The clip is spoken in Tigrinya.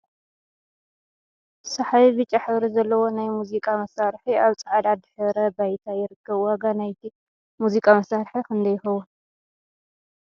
ሰሓቢ ብጫ ሕብሪ ዘለዎ ናይ ሙዚቃ መሳርሒ ኣብ ፃዕዳ ድሕረ ባይታ ይርከብ ። ዋጋ ናይቲ ሙዚቃ መሳርሒ ክንደይ ይከውን ?